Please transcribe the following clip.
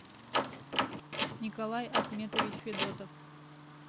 николай ахметович федотов